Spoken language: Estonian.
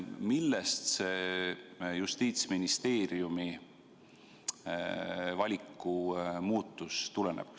Millest see Justiitsministeeriumi valiku muutus tuleneb?